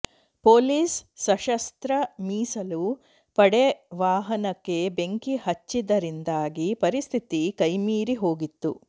police ಸಶಸ್ತ್ರ ಮೀಸಲು ಪಡೆ ವಾಹನಕ್ಕೆ ಬೆಂಕಿ ಹಚ್ಚಿದ್ದರಿಂದಾಗಿ ಪರಿಸ್ಥಿತಿ ಕೈಮೀರಿ ಹೋಗಿತ್ತು